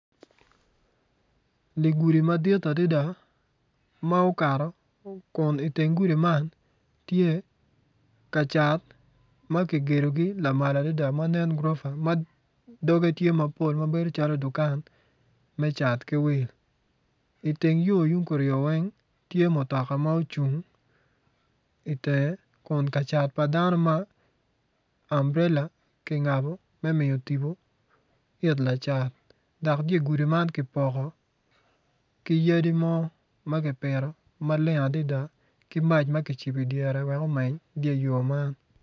Dye gudi madit adada ma oakto kin i teng gudi man kacat ma kicatogi lamal adada gurofa doge tye mapol ma nen calo dukan lacat ki wil i teng yo tung kuryo weng tye mutoka ma ocung i teng kun kacat mo ma ambrela kingabo me tibo it lacat ki yadi mogo ma kipito maleng adada ki maca ma kicibo i dyere me mac.